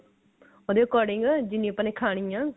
ਉਹਦੇ according ਜਿੰਨੀ ਆਪਾਂ ਨੇ ਖਾਣੀ ਐ